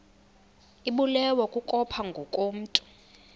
ibulewe kukopha ngokomntu